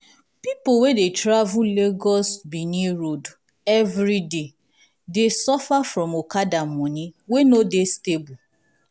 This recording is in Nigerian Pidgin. people wey dey travel lagos-benin road everyday dey suffer from okada money wey no dey stable.